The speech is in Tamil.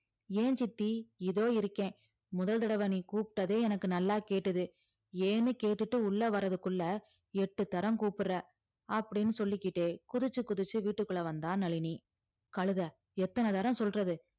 ஏன் சித்தி இதோ இருக்கேன் முதல் தடவ நீ கூப்பிட்டதே எனக்கு நல்லா கேட்டது ஏன்னு கேட்டுட்டு உள்ள வர்றதுக்குள்ள எட்டு தரம் கூப்பிடுற அப்படீன்னு சொல்லிக்கிட்டே குதிச்சு குதிச்சு வீட்டுக்குள்ள வந்தா நளினி கழுதை எத்தன தரம் சொல்றது